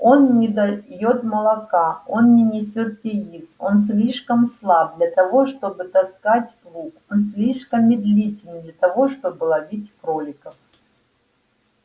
он не даёт молока он не несёт яиц он слишком слаб для того чтобы таскать плуг он слишком медлителен для того чтобы ловить кроликов